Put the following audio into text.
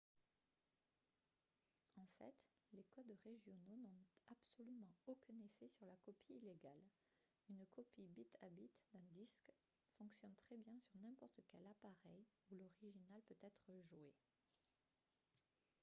en fait les codes régionaux n'ont absolument aucun effet sur la copie illégale une copie bit à bit d'un disque fonctionne très bien sur n'importe quel appareil où l'original peut être joué